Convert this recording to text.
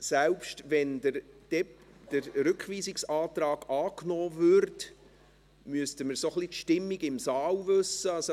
Selbst wenn der Rückweisungsantrag angenommen würde, müssten wir ein wenig die Stimmung des Grossen Rates kennen.